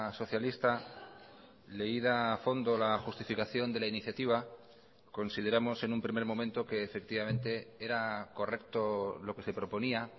socialista leída a fondo la justificación de la iniciativa consideramos en un primer momento que efectivamente era correcto lo que se proponía